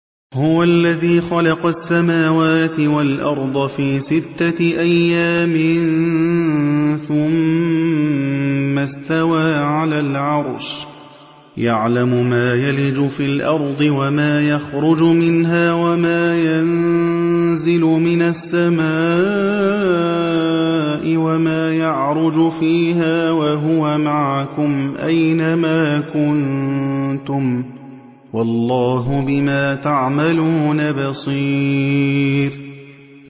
هُوَ الَّذِي خَلَقَ السَّمَاوَاتِ وَالْأَرْضَ فِي سِتَّةِ أَيَّامٍ ثُمَّ اسْتَوَىٰ عَلَى الْعَرْشِ ۚ يَعْلَمُ مَا يَلِجُ فِي الْأَرْضِ وَمَا يَخْرُجُ مِنْهَا وَمَا يَنزِلُ مِنَ السَّمَاءِ وَمَا يَعْرُجُ فِيهَا ۖ وَهُوَ مَعَكُمْ أَيْنَ مَا كُنتُمْ ۚ وَاللَّهُ بِمَا تَعْمَلُونَ بَصِيرٌ